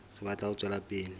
re batla ho tswela pele